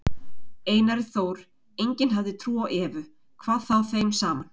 Einari Þór, enginn hafði trú á Evu, hvað þá þeim saman.